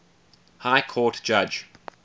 high court judge